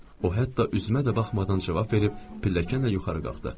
O hətta üzümə də baxmadan cavab verib pilləkənlə yuxarı qalxdı.